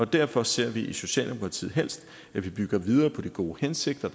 derfor ser vi i socialdemokratiet helst at vi bygger videre på de gode hensigter